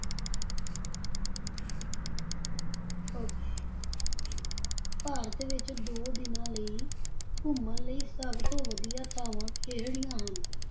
Okay Bharat ਵਿੱਚ ਦੋ ਦਿਨਾਂ ਲਈ ਘੁੰਮਣ ਲਈ ਸਭ ਤੋਂ ਵਧੀਆ ਥਾਵਾਂ ਕਿਹੜੀਆਂ ਹਨ?